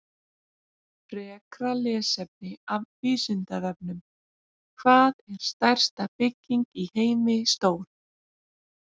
Frekra lesefni af Vísindavefnum: Hvað er stærsta bygging í heimi stór?